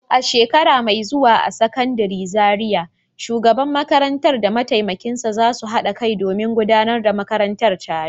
A shekara mai zuwa a Sakandaren Zariya, shugaban makarantar da mataimakinsa za su haɗa kai domin gudanar da makarantar tare.